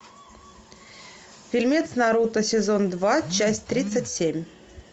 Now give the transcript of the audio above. фильмец наруто сезон два часть тридцать семь